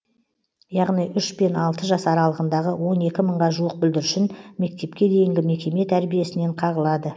яғни үш пен алты жас аралығындағы он екі мыңға жуық бүлдіршін мектепке дейінгі мекеме тәрбиесінен қағылады